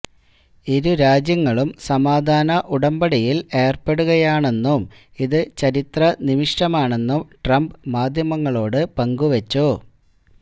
ഇരു രാജ്യങ്ങളും സമാധാന ഉടമ്പടിയില് ഏര്പ്പെടുകയാണെന്നും ഇത് ചരിത്രനിമിഷമാണെന്നും ട്രംപ് മാധ്യമങ്ങളോട് പങ്കുവെച്ചു